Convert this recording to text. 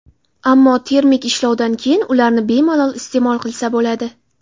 Ammo termik ishlovdan keyin ularni bemalol iste’mol qilsa bo‘ladi.